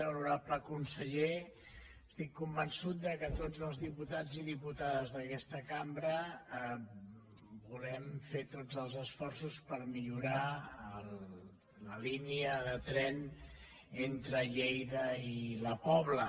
honorable conseller estic convençut que tots els diputats i diputades d’aquesta cambra volem fer tots els esforços per millorar la línia de tren entre lleida i la pobla